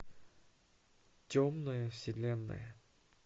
темная вселенная